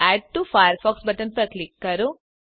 add to Firefox button પર click કરો